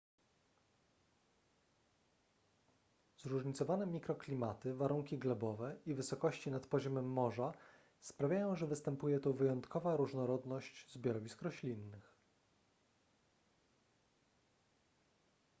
zróżnicowane mikroklimaty warunki glebowe i wysokości nad poziomem morza sprawiają że występuje tu wyjątkowa różnorodność zbiorowisk roślinnych